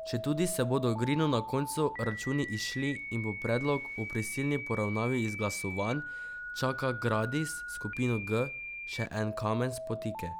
Četudi se bodo Ogrinu na koncu računi izšli in bo predlog o prisilni poravnavi izglasovan, čaka Gradis skupino G še en kamen spotike.